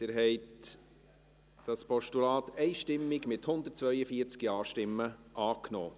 Sie haben dieses Postulat einstimmig, mit 142 Ja-Stimmen, angenommen.